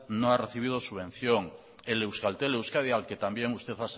no ha recibido subvención el euskaltel euskadi al que también usted